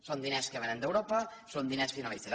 són diners que vénen d’europa són diners finalistes